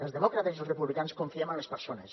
els demòcrates i els republicans confiem en les persones